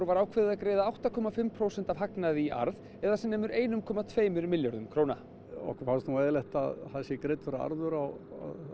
var ákveðið að greiða átta komma fimm prósent af hagnaði í arð eða sem nemur einum komma tveimur milljörðum króna okkur fannst nú eðlilegt að það væri greiddur arður á